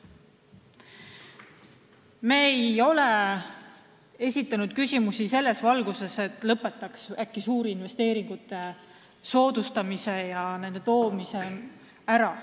Me ei ole esitanud küsimusi selles valguses, et lõpetaks äkki suurinvesteeringute soodustamise ja siia toomise ära.